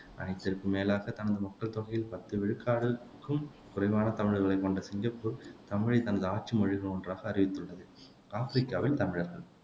அனைத்திற்கும் மேலாகத் தனது மக்கள் தொகையில் பத்து விழுக்காடுக்கும் குறைவான தமிழர்களைக் கொண்ட சிங்கப்பூர் தமிழைத் தனது ஆட்சி மொழிகளில் ஒன்றாக அறிவித்துள்ளது ஆப்பிரிக்காவில் தமிழர்கள்